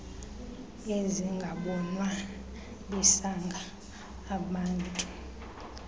ezingabonwa bisanga amantu